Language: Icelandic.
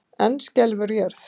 Enn skelfur jörð